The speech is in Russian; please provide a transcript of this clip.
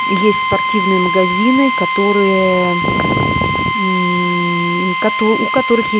есть спортивные магазины которыее мм кото у которых есть